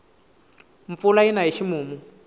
mpfula yina hi ximumu